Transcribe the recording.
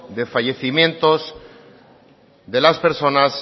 de fallecimientos de las personas